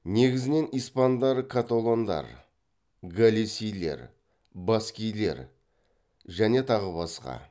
негізінен испандар католондар галисилер баскилер және тағы басқа